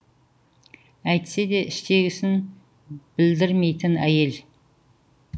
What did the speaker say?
әйтсе де іштегісін біддірмейтін әйел